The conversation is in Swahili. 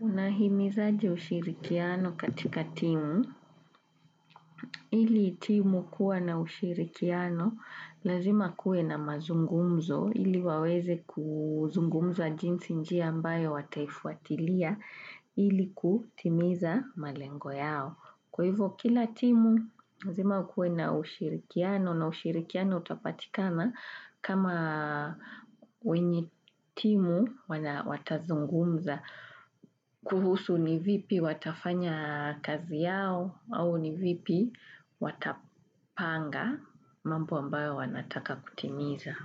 Unahimizaje ushirikiano katika timu ili timu kuwa na ushirikiano, lazima kuwe na mazungumzo ili waweze kuzungumza jinzi njia ambayo wataifuatilia ili kutimiza malengo yao. Kwa hivo kila timu, lazima kuwe na ushirikiano na ushirikiano utapatikana kama wenye timu watazungumza kuhusu ni vipi watafanya kazi yao au ni vipi watapanga mambo ambayo wanataka kutimiza.